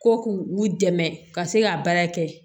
Ko k'u dɛmɛ ka se ka baara kɛ